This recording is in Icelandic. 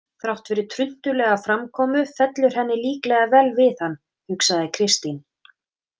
Þrátt fyrir truntulega framkomu fellur henni líklega vel við hann, hugsaði Kristín.